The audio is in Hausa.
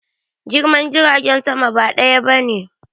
Girman jiragen sama ba ɗaya bane